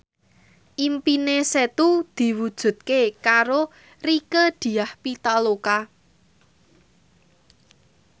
impine Setu diwujudke karo Rieke Diah Pitaloka